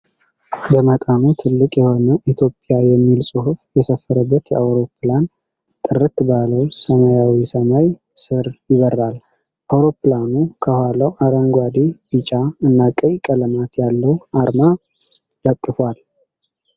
በመጠኑ ትልቅ የሆነ "ኢትዮጵያ" የሚል ጽሁፍ የሰፈረበት አውሮፕላን ጥርት ባለው ሰማያዊ ሰማይ ስር ይበራል። አውሮፕላኑ ከኋላው አረንጓዴ ቢጫ እና ቀይ ቀለማት ያለው አርማ ለጥፏል።